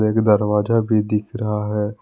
एक दरवाजा भी दिख रहा है।